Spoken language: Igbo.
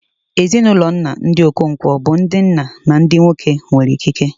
Ezinụlọ nna, ndị Okonkwo, bụ ndị nna na ndị nwoke nwere ikike.